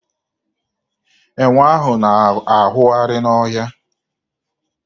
Enwe ahụ na-awụgharị n'ọhịa.